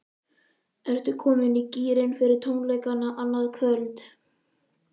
Ertu komin í gírinn fyrir tónleikana annað kvöld?